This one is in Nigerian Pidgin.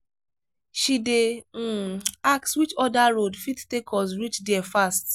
she dey um ask which other road fit take us reach there fast.